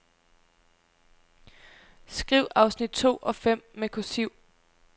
Skriv afsnit to og fem med kursiv.